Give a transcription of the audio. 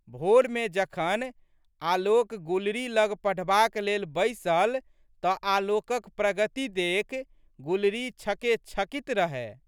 भोरमे जखन आलोक गुलरी लग पढ़बाक लेल बैसल तऽ आलोकक प्रगति देखि गुलरी छकेछकित रहए।